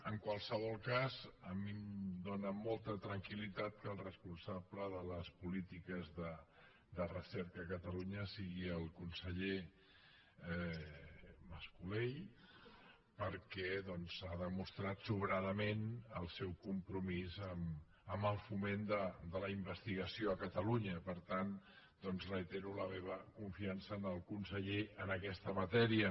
en qualsevol cas a mi em dóna molta tranquil·litat que el responsable de les polítiques de recerca a catalunya sigui el conseller mas colell perquè ha demostrat sobradament el seu compromís amb el foment de la investigació a catalunya per tant doncs reitero la meva confiança en el conseller en aquesta matèria